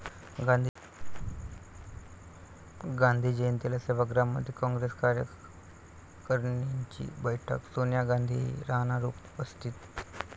गांधी जयंतीला सेवाग्राममध्ये काँग्रेस कार्यकारणीची बैठक, सोनिया गांधीही राहणार उपस्थित